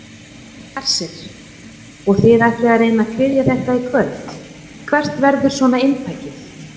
Hersir: Og þið ætlið að reyna að kryfja þetta í kvöld, hvert verður svona inntakið?